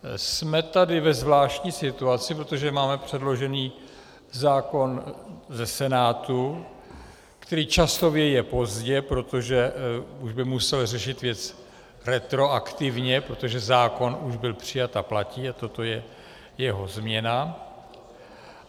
Jsme tady ve zvláštní situaci, protože máme předložený zákon ze Senátu, který časově je pozdě, protože už by musel řešit věci retroaktivně, protože zákon už byl přijat a platí a toto je jeho změna.